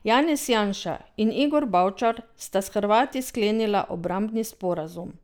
Janez Janša in Igor Bavčar sta s Hrvati sklenila obrambni sporazum.